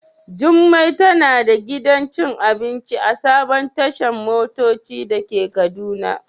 Jummai tana da gidan cin abinci a sabon tashan motoci dake kaduna.